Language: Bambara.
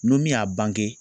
N'o min y'a bange